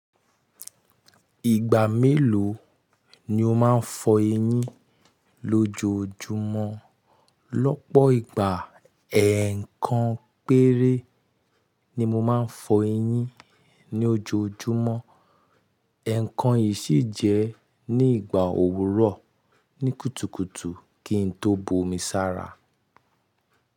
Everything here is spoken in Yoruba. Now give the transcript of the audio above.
Ìgbà mélòó ni o máa ń fọ eyín lójoójúmọ́? Lọ́pọ̀ ìgbà, ẹ̀ẹ̀kan péré ni mo máa ń fọ eyín ní ojoojúmọ́, ẹ̀ẹ̀kan yìí sì jẹ́ ní ìgbà òwúrọ̀ ní kùtùkùtù kí n tó bomi sára.